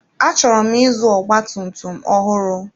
Achọrọ m ịzụ ọgba tum tum ọhụrụ.